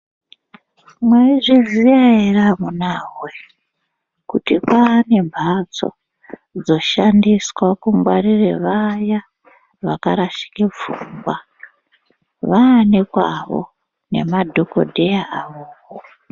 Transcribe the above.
Mwaizviziya ere amunawoye kuti kwaane mhatso dzoshandiswa kungwarire vaya vakarashike pfungwa vaanekwawo nemadhokodheya avopo.